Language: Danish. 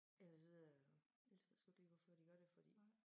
Ellers så øh ellers så ved jeg sgu ikke lige hvorfor de gør det fordi